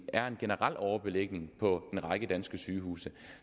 er en generel overbelægning på en række danske sygehuse